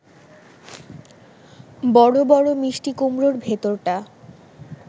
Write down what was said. বড় বড় মিষ্টি কুমড়োর ভেতরটা